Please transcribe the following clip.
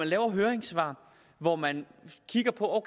laves høringssvar hvor man kigger på om